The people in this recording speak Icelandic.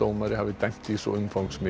umfangsmiklu máli